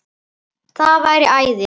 Það væri æði